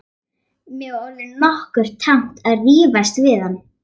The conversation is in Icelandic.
Mér var orðið nokkuð tamt að rífast við hann.